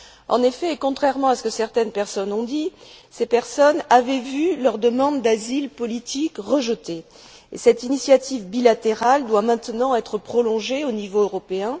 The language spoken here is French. En effet, contrairement à ce que certaines personnes ont dit, ces personnes avaient vu leur demande d'asile politique rejetée, et cette initiative bilatérale doit maintenant être prolongée au niveau européen.